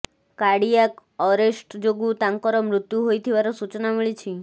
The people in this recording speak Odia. କାଡ଼ିଆକ୍ ଅରେଷ୍ଟ ଯୋଗୁଁ ତାଙ୍କର ମୃତ୍ୟୁ ହୋଇଥିବାର ସୂଚନା ମିଳିଛି